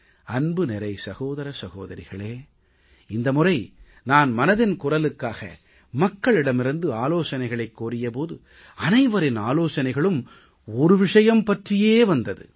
அன்பு நிறை சகோதர சகோதரிகளே இந்த முறை நான் மனதின் குரலுக்காக மக்களிடமிருந்து ஆலோசனைகளைக் கோரிய போது அனைவரின் ஆலோசனைகளும் ஒரு விஷயம் பற்றியே வந்தது